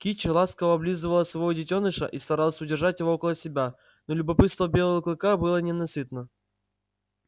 кичи ласково облизывала своего детёныша и старалась удержать его около себя но любопытство белого клыка было ненасытно